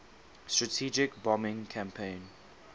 strategic bombing campaign